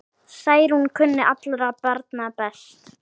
Særún kunni allra barna best.